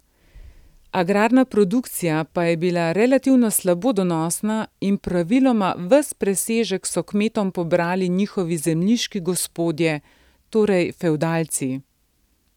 Agrarna produkcija pa je bila relativno slabo donosna in praviloma ves presežek so kmetom pobrali njihovi zemljiški gospodje, torej fevdalci.